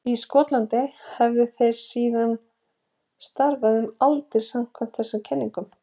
Í Skotlandi hafi þeir síðan starfað um aldir samkvæmt þessari kenningu.